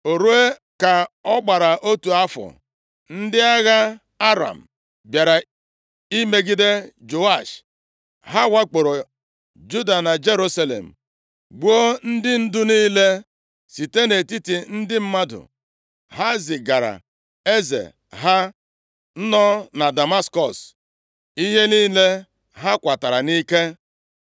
O ruo ka ọ gbara otu afọ, ndị agha Aram bịara imegide Joash, ha wakporo Juda na Jerusalem gbuo ndị ndu niile site nʼetiti ndị mmadụ. Ha zigaara eze ha nọ na Damaskọs ihe niile ha kwatara nʼike.